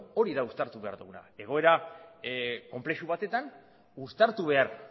hori da uztartu behar duguna egoera konplexu batean uztartu behar